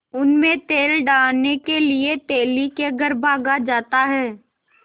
उनमें तेल डालने के लिए तेली के घर भागा जाता है